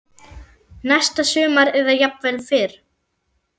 Næsta sumar eða jafnvel fyrr.